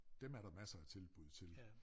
Dem er der masser af tilbud til